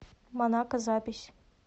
монако запись